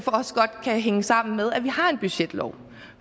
også godt kan hænge sammen med at vi har en budgetlov